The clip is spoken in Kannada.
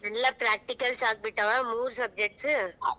ಎಲ್ಲ practical ಆಗ್ಬಿಟ್ಟ ಮೂರ್ subjects .